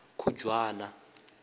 khujwana